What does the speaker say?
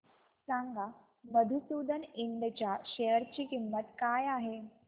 सांगा मधुसूदन इंड च्या शेअर ची किंमत काय आहे